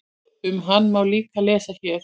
Um hann má líka lesa hér.